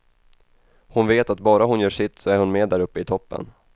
Hon vet att bara hon gör sitt, så är hon med där uppe i toppen.